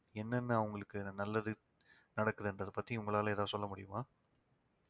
என்னென்ன அவங்களுக்கு நல்லது நடக்குதுன்றத பத்தி உங்களால ஏதாவது சொல்ல முடியுமா